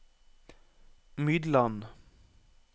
Mydland